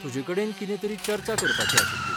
तुजे कडेन कितें तरी चर्चा करपाची आशिल्ली.